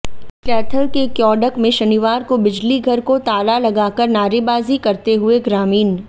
कैथल के क्योड़क में शनिवार को बिजलीघर को ताला लगाकर नारेबाजी करते हुए ग्रामीण